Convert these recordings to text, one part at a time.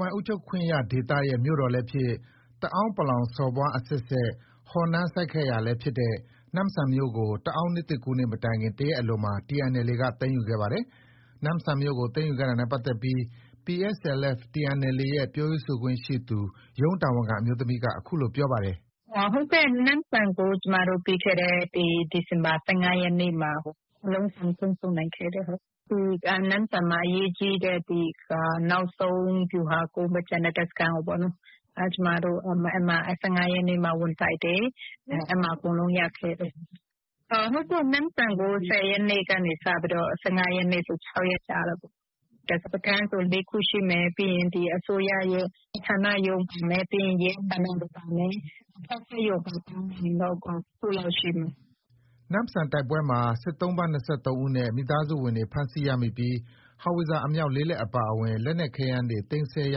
ပိုင်အုပ်ချုပ်ခွင့်ရဒေသရဲ့ မြို့တော်လည်းဖြစ် ၊ တအာင်း စော်ဘွား အဆက်ဆက် ဟော်နန်းစိုက်ခဲ့ရာလည်းဖြစ်တဲ့ နမ့်ဆန်မြို့ကို တအာင်းနှစ်သစ်ကူးနေ့ မတိုင်မီ တရက်အလိုမှာ TNLA က သိမ်းယူခဲ့တာပါ။ နမ့်ဆန်မြို့ကို သိမ်းယူခဲ့တာနဲ့ပတ်သက်ပြီး PSLF/TNLA ရဲ့ပြောရေးဆိုခွင့်ရှိသူ ရုံးတာဝန်ခံ အမျိုးသမီးက အခုလို ပြောပါတယ်။ “ ဟုတ်ကဲ့။ ဒီ နမ့်ဆန်ကို ပြီးခဲ့တဲ့ ဒီဇင်ဘာ ၁၅ ရက်နေ့မှာ အလုံးစုံ ထိန်းချုပ်နိုင်ခဲ့တယ်။ နမ့်ဆန်မှာ ဒီအရေးကြီးတဲ့ နောက်ဆုံး ဗျူဟာကုန်း တပ်စခန်းကို ၁၅ ရက်နေ့မှာ ဝင်တိုက်တယ်။ အဲဒီမှာ အကုန်လုံး ရခဲ့တယ်။ နမ့်ဆန်ကို ၁၀ ရက်နေ့ကနေ ၁၅ ရက်နေ့ဆို ၆ရက်ကြာတာပေါ့။ စခန်းဆို ၄ ခုရှိမယ်။ ပြီးရင် အစိုးရရုံး ဌာနပါမယ်။ ပြီးရင် ရဲဌာနပါမယ်။ လက်ဖက်ခြောက်ရုံပါ ပေါင်းလိုက်ရင်တော့ ၇ ခုလောက် ရှိမယ်။ ” နမ့်ဆန်တိုက်ပွဲမှာ စစ်သုံ့ပန်း ၂၃ ဦးနဲ့ မိသားစုဝင်တွေ ဖမ်းဆီး ရမိပြီး ဟောင်ဝစ်ဇာ အမြောက် ၄ လက် အပါအဝင် လက်နက်ခဲယမ်းတွေ သိမ်းဆည်းရ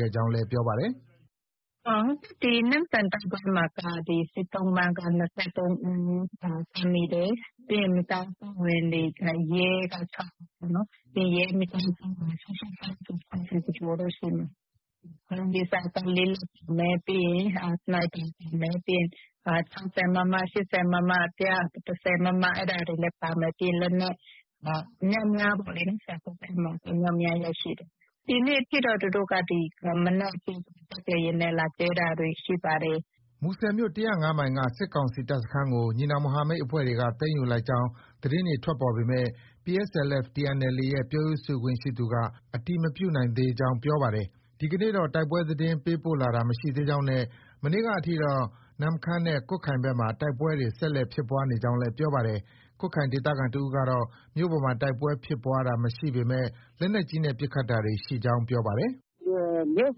ခဲ့ကြောင်း လည်း ပြောပါတယ်။ “နမ့်ဆန်တိုက်ပွဲမှာက စစ်သုံ့ပန်းက ၂၃ ဦးဖမ်းမိတယ်။ ပြီးရင် မိသားစုဝင်တွေ၊ ရဲ က ၆ ဦး၊ ရဲမိသားစုဝင်တွေဆို ၇၀ ကျော်ကျော်တော့ရှိမယ်။ အဓိက ဟောင်ဝစ်ဇာက ၄ လက်ပါမယ်။ ပြီးရင် စနိုက်ပါ ပါမယ်။ ပြီးရင် ၆၀မမ။ ၈၀မမ ပြီးရင် ၁၂၀ မမ၊ အဲဒါတွေလည်း ပါမယ်။ ပြီးရင် လက်နက်အမြောက်အများပေါ့လေ။ အမြောက်အများ ရရှိတယ်။ ဒီနေ့အထိ သူတို့က ဒီမနက်အထိတော့ လေယာဉ်နဲ့ လာကြဲတာတွေ ရှိပါတယ်။” မူဆယ်မြို့ ၁၀၅ မိုင်က စစ်ကောင်စီ တပ်စခန်းကို ညီနောင်မဟာမိတ်အဖွဲ့တွေက သိမ်းယူလိုက်ကြောင်း သတင်းတွေ ထွက်ပေါ်ပေမဲ့ PSLF/TNLA ရဲ့ပြောရေးဆိုခွင့်ရှိသူ က အတည်မပြုနိုင် သေးကြောင်း ပြောပါတယ်။ ဒီကနေ့တော့ တိုက်ပွဲသတင်း ပေးပို့လာတာ မရှိသေးကြောင်း နဲ့ မနေ့က အထိတော့ နမ့်ခမ်းနဲ့ ကွတ်ခိုင်ဘက် မှာ တိုက်ပွဲတွေ ဆက်လက်ဖြစ်ပွါး နေကြောင်းလည်း ပြောပါတယ်။ ကွတ်ခိုင်ဒေသခံ တဦးကတော့ မြို့ပေါ်မှာ တိုက်ပွဲဖြစ်ပွားတာ မရှိပေမဲ့ လက်နက်ကြီးနဲ့ ပစ်ခတ်တာတွေ ရှိကြောင်း ပြောပါတယ်။ “မြို့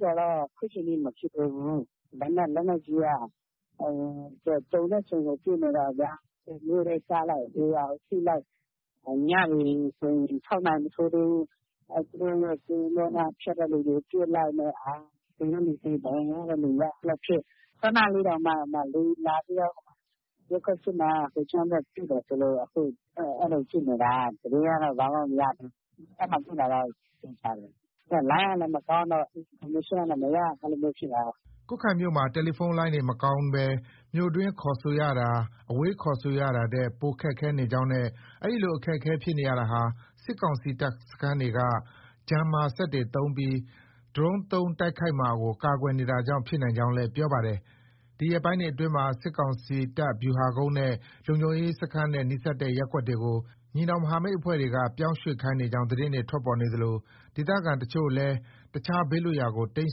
ပေါ်တော့ အခုထိ မဖြစ်သေးဘူး။ ဒါပေမဲ့ လက်နက်ကြီးက ကြုံတဲ့အချိန်ကို ပစ်နေတော့ မြို့ထဲကျလိုက်ရွာကို ထိလိုက်၊ ညဆိုရင် ၆ နာရီ မထိုးသေးဘူး။ သူတို့ရဲ့ ကင်းပုန်းက ဖြတ်တဲ့လူတွေ ပစ်လိုက်နဲ့ သေတဲ့လူသေ။ ဒဏ်ရာရတဲ့ လူရ အဲလိုဖြစ်။ ခုနလေးတောင်မှ လေယာဉ်လာပြီးတော့ ရပ်ကွက် ၈ နားက ဟိုချောင်းဘက် ပစ်တယ်ဆို လို့ အဲလိုဖြစ်နေတာ။ သတင်းကတော့ ဘာမှ မရသေးဘူး။ ပစ်တာတော့ သေချာတယ်။ လိုင်းကလည်း မကောင်းတော့ အင်ဖော်မေးရှင်းကလည်းမရ အဲလိုမျိုးဖြစ်တာ။” ကွတ်ခိုင်မြို့မှာ တယ်လီဖုန်းလိုင်းတွေ မကောင်းပဲ မြို့တွင်းခေါ်ဆိုရဟာ အဝေးခေါ်ဆိုရတာထက် ပိုမိုခက်ခဲ နေကြောင်း နဲ့ ဒီလို အခက်အခဲ ဖြစ်နေရတာဟာ စစ်ကောင်စီ တပ်စခန်းတွေက Jammer စက်တွေသုံးပြီး ဒရုန်းသုံး တိုက်ခိုက်မှာကို ကာကွယ်နေတာကြောင့် ဖြစ်နိုင်ကြောင်းလည်း ပြောပါတယ်။ ဒီရက်ပိုင်းတွေ အတွင်းမှာ စစ်ကောင်စီတပ်ဗျူဟာကုန်းနဲ့ လုံခြုံရေးစခန်းနဲ့ နီးစပ်တဲ့ ရပ်ကွက်တွေကို ညီနောင်မဟာမိတ်အဖွဲ့တွေက ပြောင်းရွှေ့ခိုင်းနေကြောင်း သတင်းတွေ ထွက်ပေါ်နေသလို ဒေသခံအချို့ကလည်း အခြား ဘေးလွတ်ရာကို တိမ်း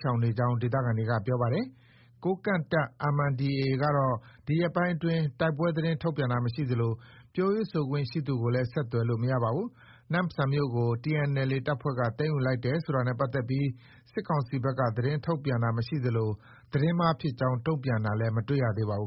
ရှောင်နေကြောင်း ဒေသခံတွေက ပြောပါတယ်။ ကိုးကန့်တပ် MNDAA ကတော့ ဒီရက်ပိုင်းအတွင်း တိုက်ပွဲသတင်းထုတ်ပြန်တာ မရှိသလို ပြောရေးဆိုခွင့် ရှိသူကိုလည်း ဆက်သွယ်လို့ မရပါဘူး။ နမ့်ဆန်မြို့ကို TNLA တပ်ဖွဲ့က သိမ်းယူလိုက်တယ်ဆိုတာနဲ့ ပတ်သက်ပြီး စစ်ကောင်စီဘက်က သတင်းထုတ်ပြန်တာမရှိသလို သတင်းမှားဖြစ်ကြောင်း တုံပြန်တာလည်း မတွေ့ရပါဘူး